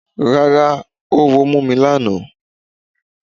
Rárá oówo ò mú mi lánàá.